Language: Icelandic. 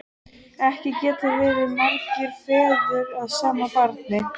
Ekki geta verið margir feður að sama barni!